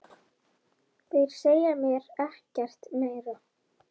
Þeir segja mér ekkert meira.